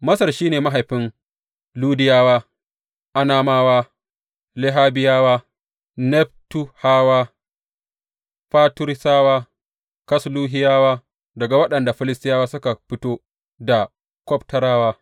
Masar shi ne mahaifin Ludiyawa, Anamawa, Lehabiyawa, Neftuhawa, Fatrusawa, Kasluhiyawa daga waɗanda Filistiyawa suka fito da Kaftorawa.